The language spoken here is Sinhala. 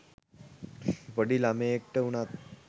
පොඩි ළමයෙක්ට වුනත්